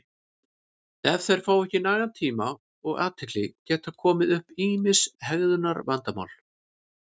ef þeir fá ekki nægan tíma og athygli geta komið upp ýmis hegðunarvandamál